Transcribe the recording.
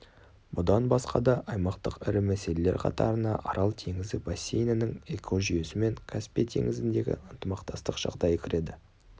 бұдан басқа да аймақтық ірі мәселелер қатарына арал теңізі бассейнінің экожүйесі мен каспий теңізіндегі ынтымақтастық жағдайы кіреді